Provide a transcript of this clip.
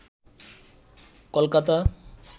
Kolkata